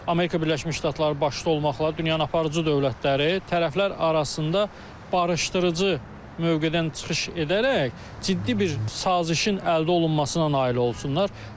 Amerika Birləşmiş Ştatları başda olmaqla dünyanın aparıcı dövlətləri tərəflər arasında barışdırıcı mövqedən çıxış edərək ciddi bir sazişin əldə olunmasına nail olsunlar, amma biz əksini görürük.